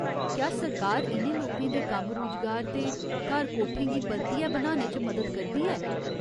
क्या सरकार इ'नें लोकें दे कम्म रूजगार ते घर कोठें गी परतियै बनाने च मदद करदी ऐ?